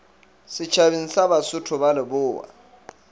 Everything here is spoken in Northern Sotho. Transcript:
setšhabeng sa basotho ba lebowa